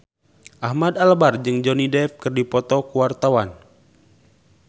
Ahmad Albar jeung Johnny Depp keur dipoto ku wartawan